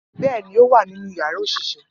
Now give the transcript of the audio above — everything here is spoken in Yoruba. Bẹ́ẹ̀ ni ó wà nínú yàrá òṣìṣẹ́